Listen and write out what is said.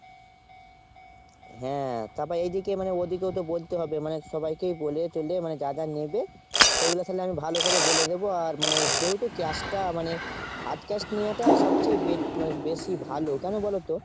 হ্যাঁ তাপর এদিকে মানে ওদিকেও তো বলতে হবে মানে সবাইকে বলে ঠলে যা যা নেবে। সেগুলো তালে আমি ভালো করে বলে দেব। আর মানে যেহেতু cash টা মানে hard cash নেওয়াটা সবচেয়ে বে মানে বেশি ভালো। কোনো বলোতো ?